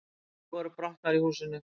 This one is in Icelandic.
Tvær rúður voru brotnar í húsinu